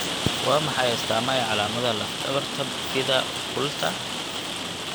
Waa maxay astaamaha iyo calaamadaha lafdhabarta bifida occulta?